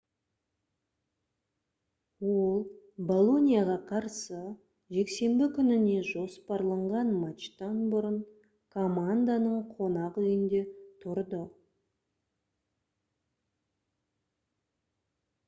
ол болоньяға қарсы жексенбі күніне жоспарланған матчтан бұрын команданың қонақүйінде тұрды